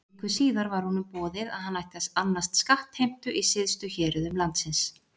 Viku síðar var honum boðið að hann ætti að annast skattheimtu í syðstu héruðum landsins.